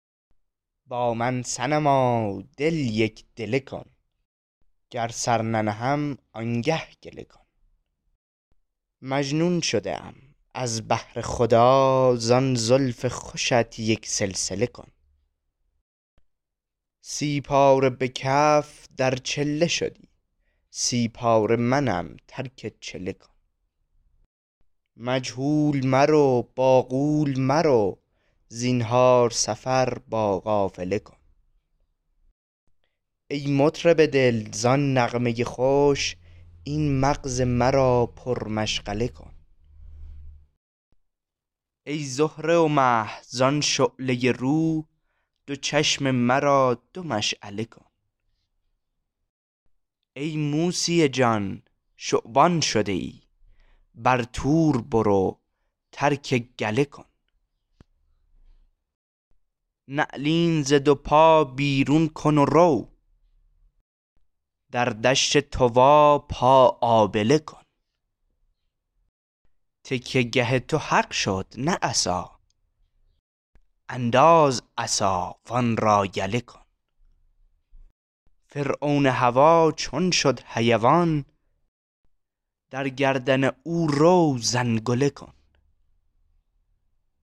با من صنما دل یک دله کن گر سر ننهم آنگه گله کن مجنون شده ام از بهر خدا زان زلف خوشت یک سلسله کن سی پاره به کف در چله شدی سی پاره منم ترک چله کن مجهول مرو با غول مرو زنهار سفر با قافله کن ای مطرب دل زان نغمه خوش این مغز مرا پرمشغله کن ای زهره و مه زان شعله رو دو چشم مرا دو مشعله کن ای موسی جان شبان شده ای بر طور برو ترک گله کن نعلین ز دو پا بیرون کن و رو در دشت طوی پا آبله کن تکیه گه تو حق شد نه عصا انداز عصا و آن را یله کن فرعون هوا چون شد حیوان در گردن او رو زنگله کن